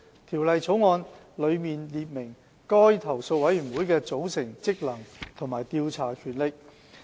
《條例草案》內列明該投訴委員會的組成、職能和調查權力。